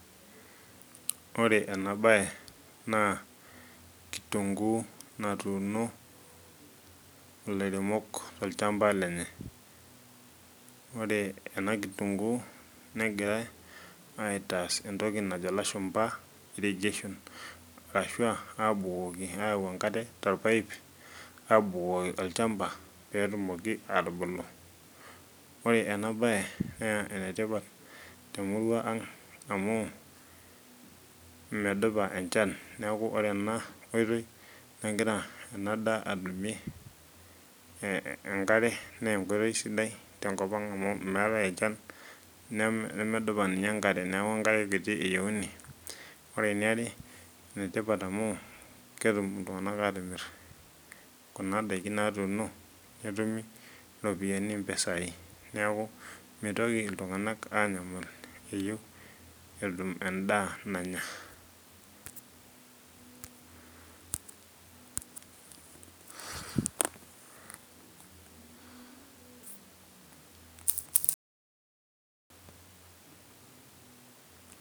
Ore enabae naa, kitunkuu natuuno ilairemok tolchamba lenye. Ore ena kitunkuu, negirai aitaas entoki najo ilashumpa irrigation. Arashu abukoki ayau enkare torpaip abukoki olchamba, petumoki atubulu. Ore enabae naa enetipat temurua ang amu, medupa enchan neeku ore ena oitoi negira enadaa atumie enkare nenkoitoi sidai tenkop ang amu meetae enchan nemedupa ninye enkare. Neeku enkare kiti eyieuni. Ore eniare, enetipat amu ketum iltung'anak atimir kuna daikin natuuno, netumi iropiyiani mpisai. Neeku mitoki iltung'anak anyamal eyieu endaa nanya.